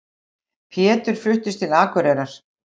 Pétur fluttist til Akureyrar.